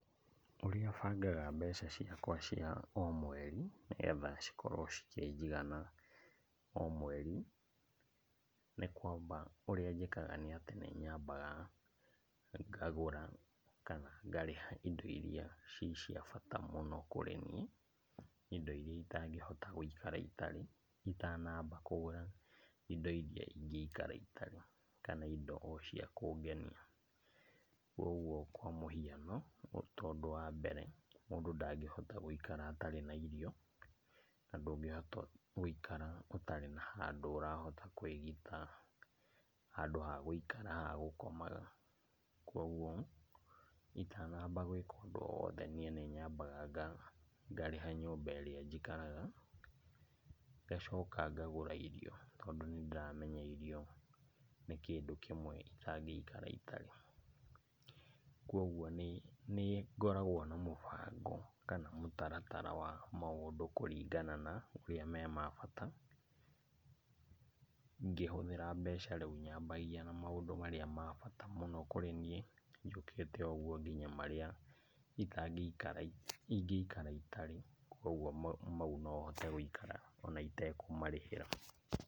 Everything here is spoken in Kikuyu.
Ũrĩa bangaga mbeca ciakwa cia o mweri, nĩgetha cikorwo cikĩnjigana o mweri, nĩ kwamba, ũrĩa njĩkaga nĩatĩ nĩnyambaga ngagũra kana ngarĩha indo iria ci cia bata mũno kũri ni, indo iria itangĩhota gũikara itarĩ, itanamba kũgũra indo iria ingĩikara itarĩ, kana indo o cia kũngenia. Koguo kwa mũhiano tondũ wa mbere mũndũ ndangĩhota gũikara atarĩ na irio, na ndũngĩhota gũikara ũtarĩ na handũ ũrahota kwĩgita, handũ ha gũikara, ha gũkomaga. Koguo itanamba gwĩka o ũndũ o wothe niĩ nĩnyambaga nga, ngarĩha nyũmba ĩrĩa njikaraga, ngacoka ngagũra irio tondũ nĩndĩramenya irio nĩ kĩndũ kĩmwe itangĩikara itarĩ. Kwoguo nĩ, nĩngoragwo na mũbango, kana mũtaratara wa maũndũ kũringana na ũrĩa me ma bata. Ngĩhũthĩra mbeca rĩu nyambagia na maũndũ marĩa ma bata mũno kũrĩ niĩ, njũkĩte o ũguo nginya marĩa itangĩikara, ingĩikara itarĩ, koguo mau nohote gũikara ona itekũmarĩhĩra.